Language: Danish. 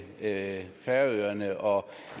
herre færøerne og